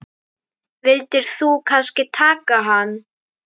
Vildir þú kannski taka hann?